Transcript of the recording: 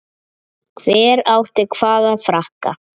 Hver átti hvaða frakka?